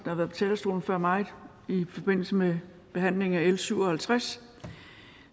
har været på talerstolen før mig i forbindelse med behandlingen af l syv og halvtreds